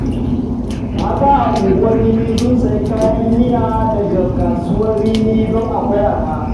Mata a Unguwar Rimi sun sayi kayan miya daga kasuwar rimi don akwai arha